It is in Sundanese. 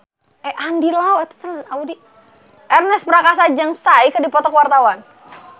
Ernest Prakasa jeung Psy keur dipoto ku wartawan